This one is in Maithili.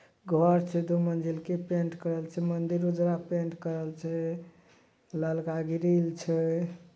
घर छे दो मंजिल के पेंट करल छे मंदिर उजला पेंट करल छे ललका ग्रिल छे।